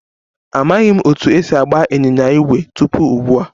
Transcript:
Amaghị m otú e si agba ịnyịnya ígwè tupu ugbu a